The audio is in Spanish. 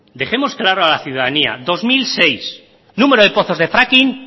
dejemos claro a la ciudadanía dos mil seis número de pozos de fracking